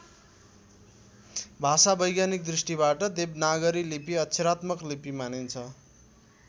भाषावैज्ञानिक दृष्टिबाट देवनागरी लिपि अक्षरात्मक लिपि मानिन्छ।